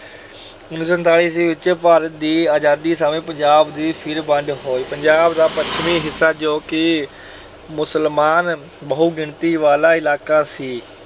ਉਨੀ ਸੌ ਸੰਤਾਲੀ ਈਸਵੀ ਵਿਚ ਭਾਰਤ ਦੀ ਆਜਾਦੀ ਸਮੇਂ ਪੰਜਾਬ ਦੀ ਫਿਰ ਵੰਡ ਹੋਈ। ਪੰਜਾਬ ਦਾ ਪੱਛਮੀ ਹਿੱਸਾ ਜੋ ਕਿ ਮੁਸਲਮਾਨ ਬਹੁਗਿਣਤੀ ਵਾਲਾ ਇਲਾਕਾ ਸੀ,